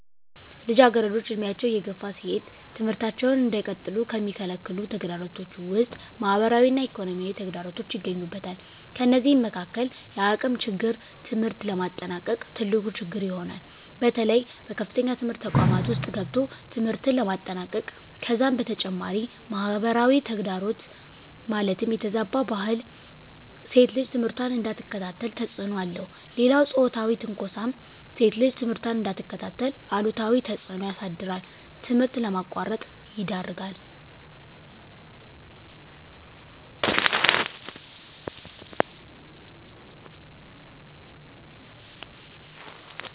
ልጃገረዶች ዕድሜያቸው እየገፋ ሲሄድ ትምህርታቸውን እንዳይቀጥሉ ከሚከለክሉ ተግዳሮቶች ውስጥ ማህበራዊ እና ኢኮኖሚያዊ ተግዳሮቶች ይገኙበታል። ከነዚህም መካካል የአቅም ችግር ትምህርት ለማጠናቀቅ ትልቁ ችግር ይሆናል። በተለይ በከፍተኛ ትምህርት ተቋማት ውስጥ ገብቶ ትምህርትን ለማጠናቀቅ ከዛም በተጨማሪ ማህበራዊ ተግዳሮት ማለትም የተዛባ ባህል ሴት ልጅ ትምህርቷን እንዳትከታተል ተፅዕኖ አለው። ሌላው ፆታዊ ትንኳሳም ሴት ልጅ ትምህርቷን እንዳትከታተል አሉታዊ ተፅዕኖ ያሳድራል ትምህርት ለማቋረጥ ይዳርጋል።